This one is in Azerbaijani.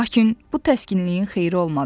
Lakin bu təskinliyin xeyri olmadı.